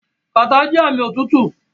Kàtá jẹ́ ààmì òtútù.